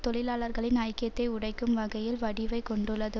தொழிலாளர்களின் ஐக்கியத்தை உடைக்கும் வகையில் வடிவைக் கொண்டுள்ளது